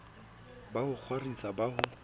ba ho kgwaritsa ba ho